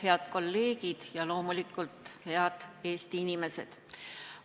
Head kolleegid ja loomulikult head Eesti inimesed!